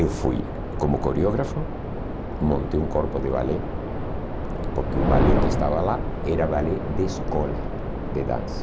Eu fui como coreógrafo, montei um corpo de balé, porque o balé que estava lá era balé de escola de dança.